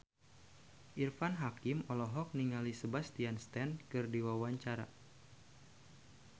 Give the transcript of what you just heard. Irfan Hakim olohok ningali Sebastian Stan keur diwawancara